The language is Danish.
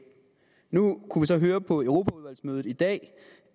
nu kunne vi så høre på europaudvalgsmødet i dag